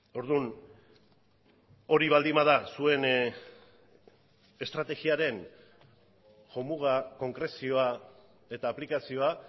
orduan hori baldin bada zuen estrategiaren jomuga konkrezioa eta aplikazioa